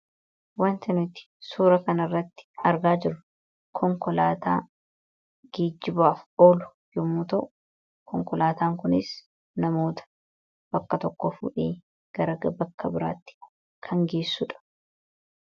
Waanti nuti suura kanarratti argaa jirru konkolaataa geejjibaaf oolu yommuu ta'u, konkolaataan kunis namoota bakka tokkoo fuudhee gara bakka biraatti kan geessudha.